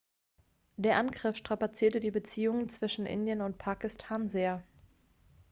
der angriff strapazierte die beziehungen zwischen indien und pakistan sehr